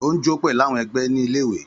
Ó ń jó pẹ̀lú àwọn ẹgbẹ́ ní ilé-ìwé.